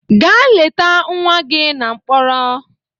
Gaa leta nwa gị na mkpọrọ!